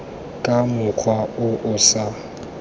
ka mokgwa o o sa